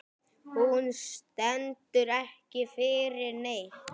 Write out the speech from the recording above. Hún stendur ekki fyrir neitt.